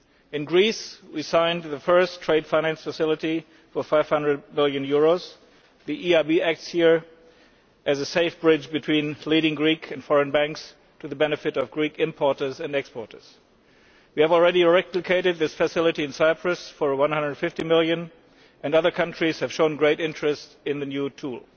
In Greece we signed the first trade finance facility worth EUR500 million. Here the EIB acts as a safe bridge between leading Greek and foreign banks, to the benefit of Greek importers and exporters. We have already replicated this facility in Cyprus for EUR150 million, and other countries have shown great interest in this new tool.